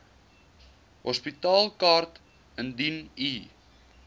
hospitaalkaart indien u